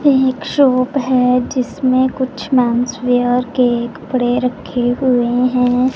एक शॉप है जिसमें कुछ मेन्स वेयर के कपड़े रखे हुए हैं।